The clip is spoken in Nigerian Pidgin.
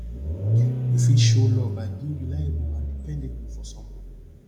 you fit show love by being reliable and dependable for someone